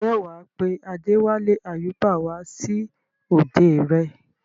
ǹjẹ́ wà á pe Adéwálé Àyúbà wá sí òde rẹ?